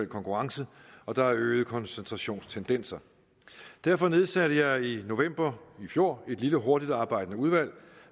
konkurrence og der er øgede koncentrationstendenser derfor nedsatte jeg i november i fjor et lille hurtigtarbejdende udvalg